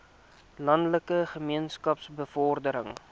landelike gemeenskappe bevordering